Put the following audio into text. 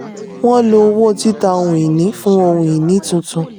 wọ́n lò owó títà ohun-ìní fún ohun-ìní tuntun.